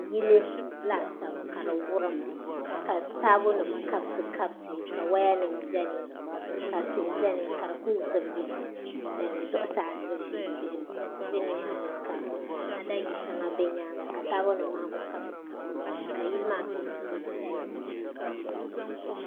Yili laasabu ka di wurim ka taabo nim kabisi kabisi ka woya nim biɛni ka tihi biɛni ka di ku zibigi zuɣusaa tihi bɛ nimaani ka ada yili shɛŋa bɛ nyaanga ka taabo nim maa ku kabisi kabisi doya ka yili maa peenti yili piɛlli